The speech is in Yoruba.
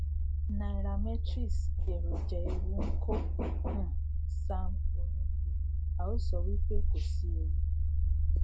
nairametrrics èròjà ewu nkó um sam onukuwe a ò sọ wí pé kòsí ewu